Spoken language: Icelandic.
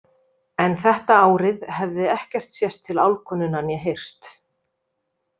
En þetta árið hefði ekkert sést til álfkonunnar né heyrst.